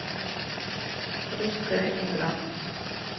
русская игра